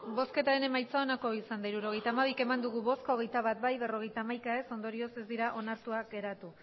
hirurogeita hamabi eman dugu bozka hogeita bat bai berrogeita hamaika ez ondorioz ez dira onartuak geratu